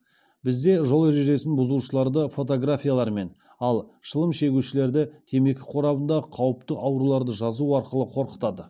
бізде жол ережесін бұзушыларды фотографиялармен ал шылым шегушілерді темекі қорабындағы қауіпті ауруларды жазу арқылы қорқытады